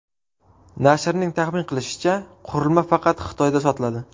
Nashrning taxmin qilishicha, qurilma faqat Xitoyda sotiladi.